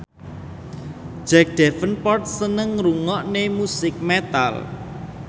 Jack Davenport seneng ngrungokne musik metal